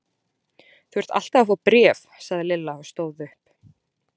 Þú ert alltaf að fá bréf sagði Lilla og stóð upp.